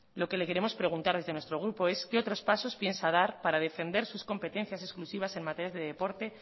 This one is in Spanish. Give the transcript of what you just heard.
lo que le queremos preguntar desde nuestro grupo es qué otros pasos piensa dar para defender sus competencias exclusivas en materias de deporte